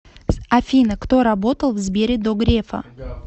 афина кто работал в сбере до грефа